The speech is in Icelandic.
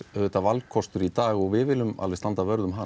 auðvitað valkostur í dag og við viljum standa vörð um hann